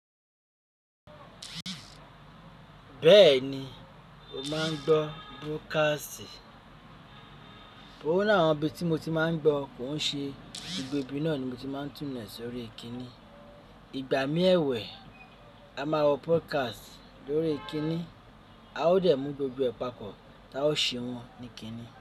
Bẹ́ẹ̀ni mo máa ń gbọ́ broadcast. Ọ̀ ni àwọn ibi tí mo ti máa ń gbọ́ kò ń ṣe gbogbo ibi náà ni mo ti máa ń túnlẹ̀ sórí ìkíni. Ìgbà mí ẹ̀wẹ̀, a máa wọ podcast lórí kíni. A ò dẹ̀ mú gbogbo ẹ̀ pàpọ́ ta ó ṣe wọn ní kíni.